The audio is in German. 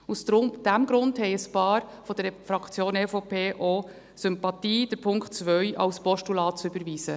Aus diesem Grund haben ein paar von der Fraktion EVP auch Sympathien dafür, den Punkt 2 als Postulat zu überweisen.